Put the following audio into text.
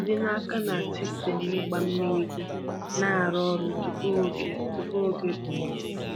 Jide n’aka na sistemu ịgba mmiri gị na-arụ ọrụ tupu oge tupu oge okpomọkụ.